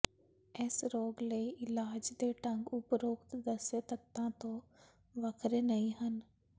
ਇਸ ਰੋਗ ਲਈ ਇਲਾਜ ਦੇ ਢੰਗ ਉਪਰੋਕਤ ਦੱਸੇ ਤੱਤਾਂ ਤੋਂ ਵੱਖਰੇ ਨਹੀਂ ਹਨ